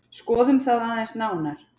Skoðum það aðeins nánar.